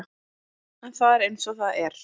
En það er eins og það er.